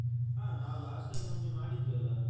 ಹ ನಾವು last time ಒಮ್ಮೆ ಮಾಡಿದ್ವಲ್ಲ.